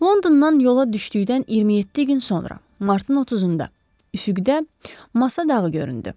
Londondan yola düşdükdən 27 gün sonra, martın 30-da üfüqdə Masa dağı göründü.